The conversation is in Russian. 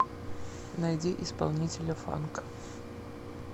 найди исполнителя фанк